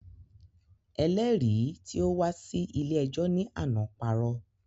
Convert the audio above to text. Ẹlẹ́rìí tí ó wá sí ilé ẹjọ́ ní àná parọ́